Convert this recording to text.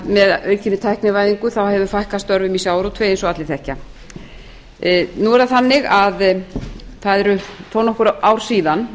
með aukinni tæknivæðingu hefur fækkað störfum í sjávarútvegi eins og allir þekkja nú er það þannig að það eru þó nokkur ár síðan